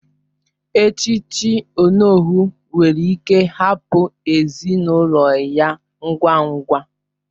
Echiche onowu nwere ike hapụ ezinụlọ ya ngwa ngwa